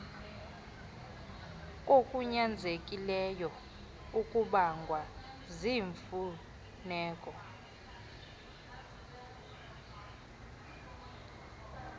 kokunyanzelekileyo okubangwa ziimfuneko